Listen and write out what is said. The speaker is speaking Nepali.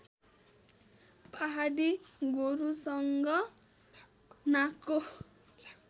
पहाडी गोरुसँग नाकको